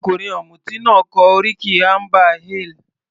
Ọkùnrin ọ̀mùti náà kọ oríkì amber ale.